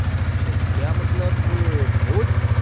सद्या मतलब, भोज?